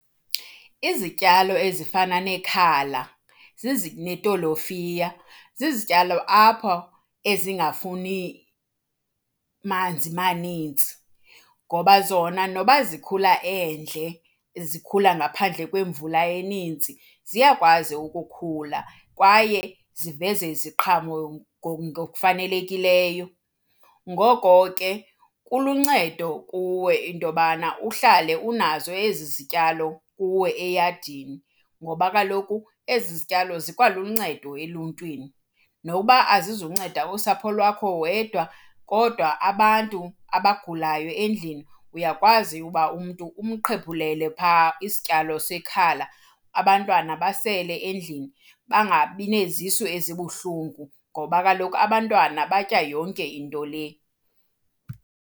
Izityalo ezifana nekhala netolofiya zizityalo apha ezingafuni manzi manintsi ngoba zona noba zikhula endle, zikhula ngaphandle kwemvula eninzi, ziyakwazi ukukhula kwaye ziveze iziqhamo ngokufanelekileyo. Ngoko ke kuluncedo kuwe into yobana uhlale unazo ezi zityalo kuwe eyadini ngoba kaloku ezi zityalo zikwaluncedo eluntwini. Nokuba azizokunceda usapho lwakho wedwa kodwa abantu abagulayo endlini, uyakwazi uba umntu umqhephulele phaa isityalo sekhala abantwana basele endlini. Bangabi nezisu ezibuhlungu ngoba kaloku abantwana batya yonke into le.